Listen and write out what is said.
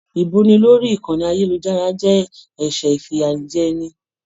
Ibuni lórí ìkànnì ayelujara jẹ ẹsẹ ifiyajẹni.